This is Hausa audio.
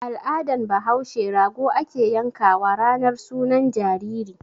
Al'adan bahaushe rago ake yan kawa ranar sunan jariri.